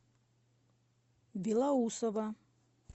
белоусово